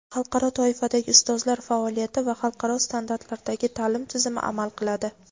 xalqaro toifadagi ustozlar faoliyati va xalqaro standartlardagi ta’lim tizimi amal qiladi.